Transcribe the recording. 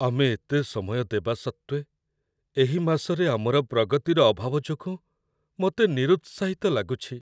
ଆମେ ଏତେ ସମୟ ଦେବା ସତ୍ତ୍ୱେ ଏହି ମାସରେ ଆମର ପ୍ରଗତିର ଅଭାବ ଯୋଗୁଁ ମୋତେ ନିରୁତ୍ସାହିତ ଲାଗୁଛି।